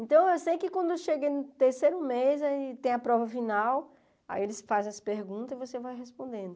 Então, eu sei que quando eu cheguei no terceiro mês, aí tem a prova final, aí eles fazem as perguntas e você vai respondendo.